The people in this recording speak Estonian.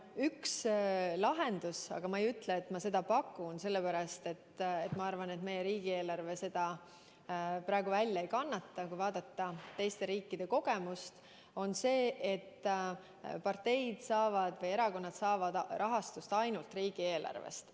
Üks lahendus – aga ma ei ütle, et ma seda pakun, sellepärast et minu arvates meie riigieelarve seda praegu välja ei kannata –, kui vaadata teiste riikide kogemusi, on see, et erakonnad saavad rahastust ainult riigieelarvest.